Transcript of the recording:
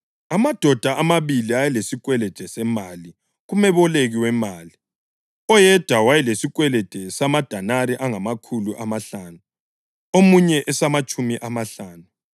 “Amadoda amabili ayelesikwelede semali kumeboleki wemali. Oyedwa wayelesikwelede samadenari angamakhulu amahlanu, omunye esamatshumi amahlanu.